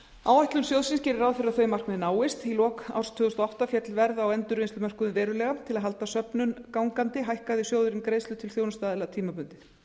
áætlun sjóðsins gerir ráð fyrir að þau markmið náist í lok árs tvö þúsund og átta féll verð á endurvinnslumörkuðum verulega til að halda söfnun gangandi hækkaði sjóðurinn greiðslur til þjónustuaðila tímabundið